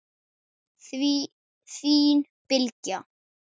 Þín Bylgja.